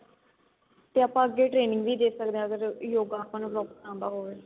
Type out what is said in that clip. ਤੇ ਆਪਾਂ ਅੱਗੇ training ਵੀ ਦੇ ਸਕਦੇ ਆ ਅਗਰ ਯੋਗਾ ਆਪਾਂ ਨੂੰ ਆਂਦਾ ਹੋਵੇ